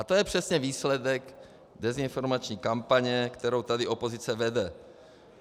A to je přesně výsledek dezinformační kampaně, kterou tady opozice vede.